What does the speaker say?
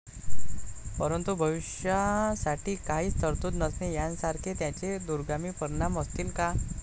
परंतु, भविष्यासाठी काहीच तरतूद नसणे यांसारखे त्याचे दूरगामी परिणाम असतील का?